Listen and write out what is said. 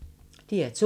DR2